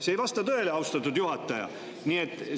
See ei vasta tõele, austatud juhataja!